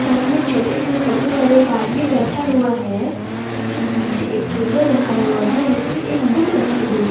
सामने छोटी से सोफे पर एक आदमी बैठा हुआ है उसके पीछे एक टेबल रखा हुआ है इस पे एक बुक रखी हुई है।